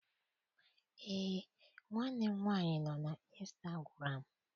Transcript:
Eé, nwanne m nwaanyị nọ na instagụram.